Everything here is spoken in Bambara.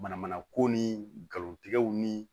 Mana mana ko ni galontigɛw ni